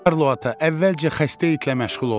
Karlo ata, əvvəlcə xəstə itlə məşğul olun.